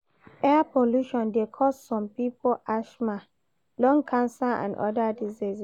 Air polution de cause some pipo ashma lung cancer and other diseases